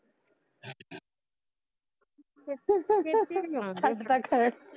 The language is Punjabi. ਛੱਡਦਾ ਖਰੜ